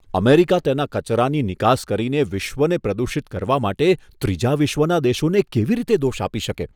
America તેના કચરાની નિકાસ કરીને વિશ્વને પ્રદૂષિત કરવા માટે ત્રીજા વિશ્વના દેશોને કેવી રીતે દોષ આપી શકે?